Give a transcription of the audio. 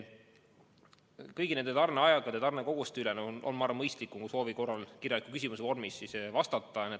Kõigi tarneaegade ja tarnekoguste kohta on, ma arvan, mõistlikum vastata kirjalikult, kui te soovite.